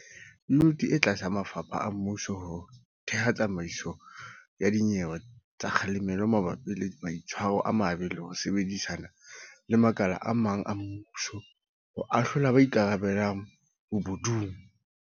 Yuniti e tla thusa mafapha a mmuso ho theha tsamaiso ya dinyewe tsa kga lemelo mabapi le maitshwaro a mabe le ho sebedisana le makala a mang a mmuso ho ahlola ba ikarabellang bobo dung.